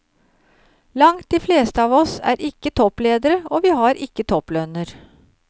Langt de fleste av oss er ikke toppledere, og vi har ikke topplønner.